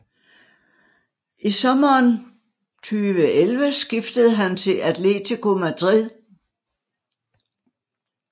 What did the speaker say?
I sommeren 2011 skiftede han til Atlético Madrid